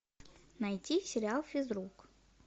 найти сериал физрук